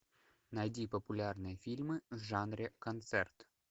найди популярные фильмы в жанре концерт